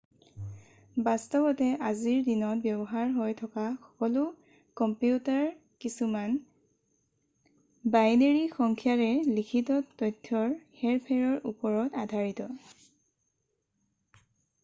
বাস্তৱতে আজিৰ দিনত ব্যৱহাৰ হৈ থকা সকলো কম্পিউটাৰ কিছুমান বাইনেৰী সংখ্যাৰে লিখিত তথ্যৰ হেৰ-ফেৰৰ ওপৰত আধাৰিত